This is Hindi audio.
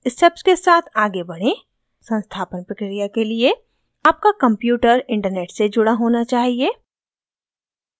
स्टेप्स के साथ आगे बढ़ें संस्थापन प्रक्रिया के लिए आपका कंप्यूटर इन्टरनेट से जुड़ा होना चाहिए